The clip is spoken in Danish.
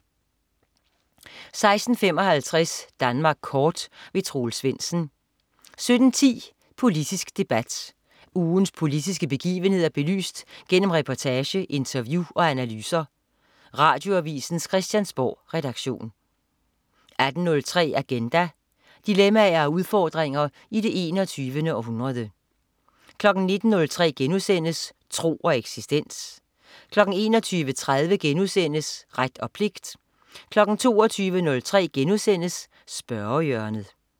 16.55 Danmark kort. Troels Svendsen 17.10 Politisk debat. Ugens politiske begivenheder belyst gennem reportage, interview og analyser. Radioavisens Christiansborgredaktion 18.03 Agenda. Dilemmaer og udfordringer i det 21. århundrede 19.03 Tro og eksistens* 21.30 Ret og pligt* 22.03 Spørgehjørnet*